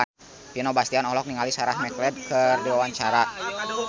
Vino Bastian olohok ningali Sarah McLeod keur diwawancara